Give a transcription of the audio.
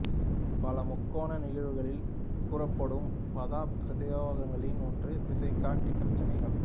பல முக்கோண நிகழ்வுகளில் கூறப்படும் பதப் பிரயோகங்களில் ஒன்று திசைகாட்டி பிரச்சினைகள்